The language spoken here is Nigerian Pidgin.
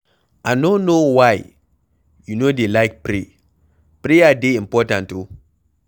I no know why you no dey like pray, prayer dey important oo